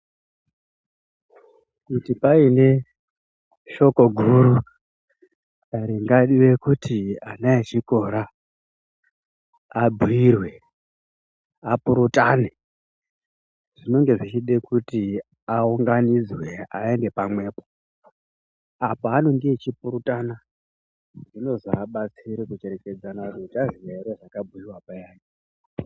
Kuti paine shoko guru ringarire kuti ana echikora abhuyirwe, apurutane zvinenge zvichide kuti aunganidzwe aende pamwepo apo anenge achipurutana zvinozovabetsere kucherechedzana kuti uchaziya here zvakabhuyiwa payani.